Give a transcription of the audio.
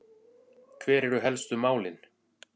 Hver eru helstu málin?